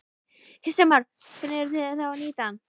Kristján Már: Hvernig eru þið þá að nýta hann?